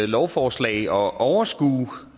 lovforslag at overskue